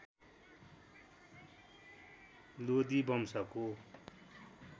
लोदी वंशको